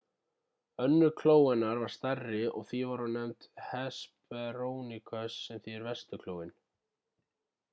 önnur kló hennar var stærri og því var hún nefnd hesperonychus sem þýðir vesturklóin